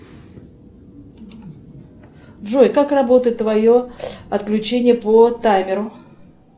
джой как работает твое отключение по таймеру